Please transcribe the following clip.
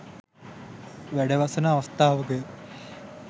වැඩවසන අවස්ථාවකය.